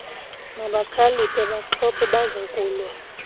mabakhaliphe baaxhobe bazokulwa